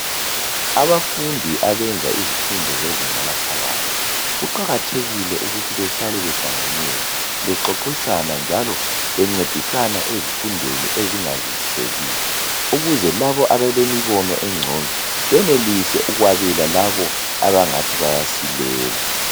Abafundi abenza izifundo zezinga eliphakathi, kuqakathekile ukuthi bahlale behlanganela bexoxisana njalo bencedisana ezifundweni ezingazwisisekiyo ukuze labo abalembono engcono benelise ukwabela labo abangani bayasilela.